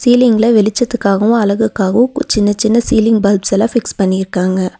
சீலிங்ல வெளிச்சத்துக்காகவு அழகுக்காகவு கு சின்ன சின்ன சீலிங் பல்ப்ஸ்லா ஃபிக்ஸ் பண்ணிருக்காங்க.